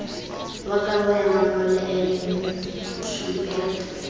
wa kabo ya mangolo nqf